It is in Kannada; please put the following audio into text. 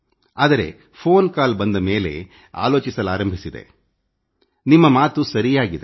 ಆದರೆ ಫೋನ್ ಕಾಲ್ ಬಂದ ಮೇಲೆ ಆಲೋಚಿಸಲಾರಂಭಿಸಿದೆ ನಿಮ್ಮ ಮಾತು ಸರಿಯಾಗಿದೆ